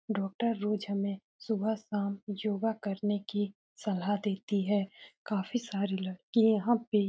doctor रोज हमें सुबह शाम योगा करने की सलाह देती है काफी सारी लड़की यहां पे --